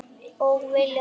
Og vilja meira.